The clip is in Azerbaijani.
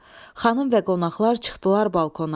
Xanım və qonaqlar çıxdılar balkona.